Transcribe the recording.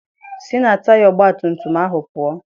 Sị na taya ọgbatumtum ahụ pụọ!